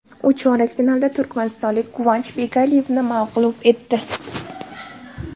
U chorak finalda turkmanistonlik Guvanch Begaliyevni mag‘lub etdi.